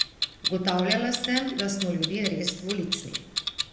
Ugotavljala sem, da smo ljudje res dvolični.